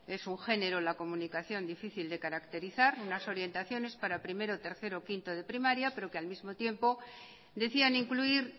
es un género en la comunicación difícil de caracterizar unas orientaciones para primero tercero y quinto de primaria pero que al mismo tiempo decían incluir